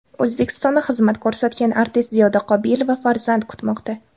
O‘zbekistonda xizmat ko‘rsatgan artist Ziyoda Qobilova farzand kutmoqda.